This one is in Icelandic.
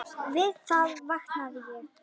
Við það vaknaði ég.